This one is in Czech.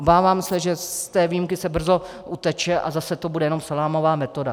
Obávám se, že z té výjimky se brzo uteče a zase to bude jenom salámová metoda.